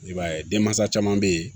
I b'a ye denmansa caman bɛ yen